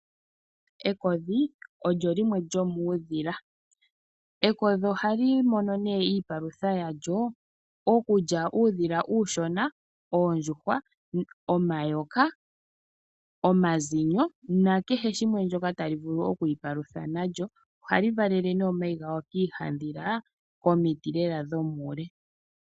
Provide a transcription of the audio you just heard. Ekodhi olyo limwe lyomuudhila. Ekodhi ohali mono nee iipalutha yalyo okulya uudhila uushona, oondjuhwa, omayoka, omazinyo na kehe shimwe shoka tali vulu okwi ipalutha nasho. Ohali valele nee omayi galyo kiihandhila komiti lela dhomuule.